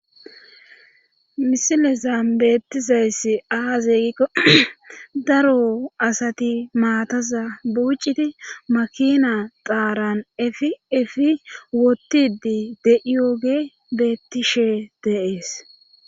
misilezan beettizayssi aaze gikko daro asati maataza buucidi makina xaaran efiefi wotidi de7iyooge beettishe de'es